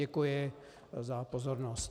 Děkuji za pozornost.